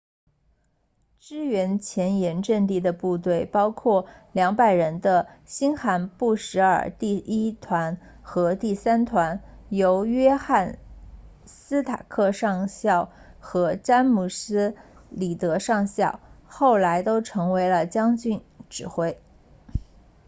支援前沿阵地的部队包括200人的新罕布什尔第1团和第3团由约翰斯塔克上校和詹姆斯里德上校后来都成为了将军指挥